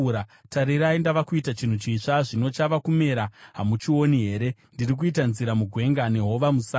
Tarirai, ndava kuita chinhu chitsva! Zvino chava kumera; hamuchioni here? Ndiri kuita nzira mugwenga nehova musango.